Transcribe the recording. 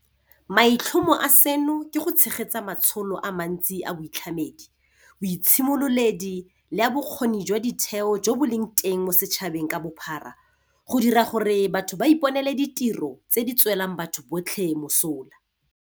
Maitlhomo a seno ke go tshegetsa matsholo a mantsi a boitlhamedi, boitshimololedi le a bokgoni jwa ditheo jo bo leng teng mo setšhabeng ka bophara go dira gore batho ba iponele ditiro tse di tswelang batho botlhe mosola.